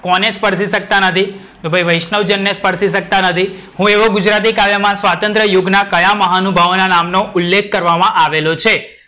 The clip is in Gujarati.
કોને સ્પર્શી સકતા નથી? તો ભાઈ વૈષ્ણવજણ ને સ્પર્શી સકતા નથી. હું એવું ગુજરાતી સહકાવ્યમાં સ્વાતંત્ર યુગના કયા મહાનુભાવ નામ નો ઉલ્લેખ કરવામાં આવેલો છે?